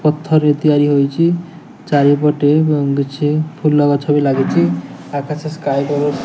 ପଥରେ ତିଆରି ହେଉଚି । ଜରିପଟେ ଗୁଙ୍ଗୁଛି ଫୁଲ ଗଛ ବି ଲାଗିଚି ଆକାଶ ସ୍କାଏ କଲ --